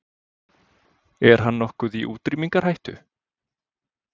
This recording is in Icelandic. Er hann nokkuð í útrýmingarhættu?